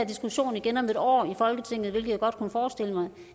diskussion igen om et år i folketinget hvilket jeg godt kunne forestille mig